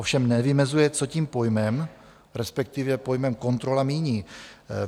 Ovšem nevymezuje, co tím pojmem, respektive pojmem "kontrola", míní.